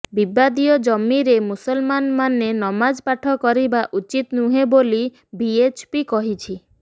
ବିବାଦୀୟ ଜମିରେ ମୁସଲମାନମାନେ ନମାଜ ପାଠ କରିବା ଉଚିତ ନୁହେଁ ବୋଲି ଭିଏଚପି କହିଛି